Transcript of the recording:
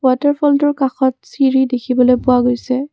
Water fall টোৰ কাষত চিৰি দেখিবলৈ পোৱা গৈছে।